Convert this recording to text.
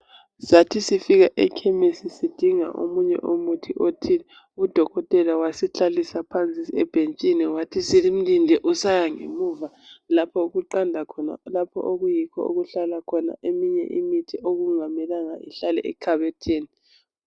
Sathi sifika ekhemisi sidinga omunye umuthi othile udokotela wasihlalisa phansi ebhentshini wathi simlinde usaya ngemuva lapho okuqanda khona lapho okuyikho okuhlala khona eminye imithi okungamelanga ihlale ekhabothini.